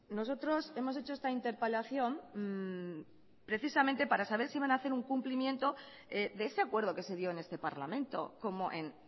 nosotros hemos hecho esta interpelación precisamente para saber si van ha hacer un cumplimiento de ese acuerdo que se dio en este parlamento como en